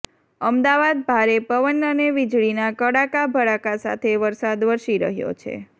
અમદાવાદ ભારે પવન અને વીજળીના કડાકા ભડાકા સાથે વરસાદ વરસી રહ્યો છે